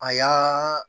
A y'aaaa